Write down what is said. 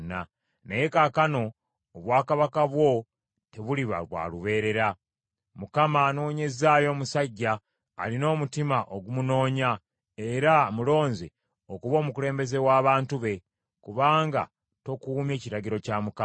Naye kaakano obwakabaka bwo tebuliba bwa lubeerera. Mukama anoonyezzaayo omusajja alina omutima ogumunoonya era amulonze okuba omukulembeze w’abantu be, kubanga tokuumye kiragiro kya Mukama .”